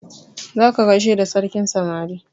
Za ka gaishe da sarkin samari!